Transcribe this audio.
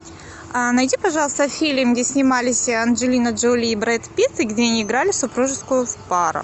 найди пожалуйста фильм где снимались анджелина джоли и брэд питт и где они играли супружескую пару